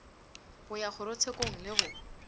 go ya kgorotshekong le go